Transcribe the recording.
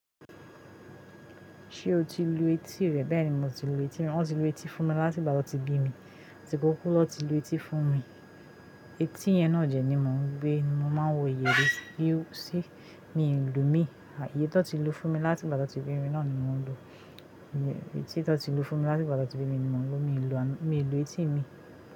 Ṣé o ti lu etí rẹ? Bẹ́ẹ̀ni mo ti lu etí mi, wọn ti lu etí fún mi láti ìgbà tí wọ́n ti bí mi. Àti kókó lọ́ ti lu etí fún mi. Eti yẹn náà jẹ ni mò ń gbé, ni mo máa ń wò yè rẹ. Bí ó ṣe mi ń lù ú mi. Àìye tó ti lu fún mi láti ìgbà tan tí wọ́n ti bí mi náà ni mò ń lù ú. Eti tó ti lu fún mi láti ìgbà tí wọ́n ti bí mi ni mò ń lo ú, mi lù etí mi.